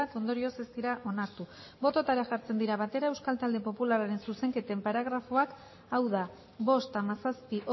ondorioz ez dira onartu bototara jartzen dira batera euskal talde popularraren zuzenketen paragrafoak hau da bost hamazazpi